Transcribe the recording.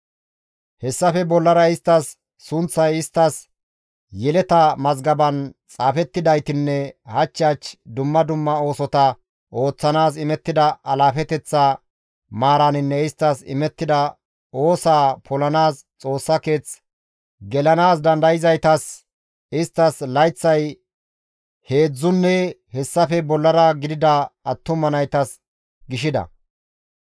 Hessafe bollara isttas sunththay isttas yeleta mazgaben xaafettidaytinne hach hach dumma dumma oosota ooththanaas imettida alaafeteththa maaraninne isttas imettida oosaa polanaas Xoossa keeth gelanaas dandayzaytas, isttas layththay heedzdzunne hessafe bollara gidida attuma naytas gishida.